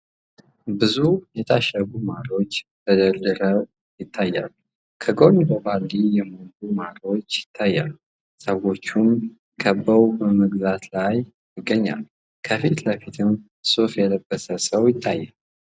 ብዙ የታሸጉ ማሮች ተደርድረው ይታያሉ ከጎንም በባልዲ የሞሉ ማሮች ይታያሉ ። ሰዎችም ከበው በመግዛት ላይ ይገኛሉ ።ከፊት ለፊትም ሱፍ የለበሰ ሰው ይታያል።